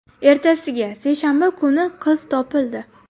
Ertasiga, seshanba kuni qiz topildi.